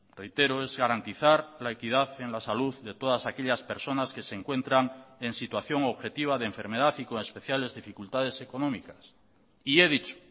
reitero es garantizar la equidad en la salud de todas aquellas personas que se encuentran en situación objetiva de enfermedad y con especiales dificultades económicas y he dicho